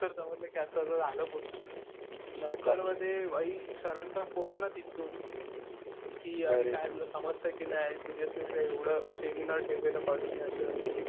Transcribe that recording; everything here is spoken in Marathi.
नंतर समजतंय कि असं असं झालं पूर्ण. नंतर मग ते भाई सरांचा फोन ना तिथून, कि काय तुला समजतं कि नाही. सिरीअसनेस नाही. एवढं सेमिनार ठेवलेला कॉलेजने असं तसं.